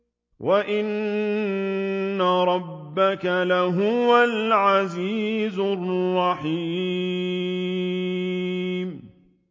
وَإِنَّ رَبَّكَ لَهُوَ الْعَزِيزُ الرَّحِيمُ